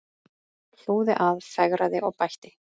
Hlúði að, fegraði og bætti.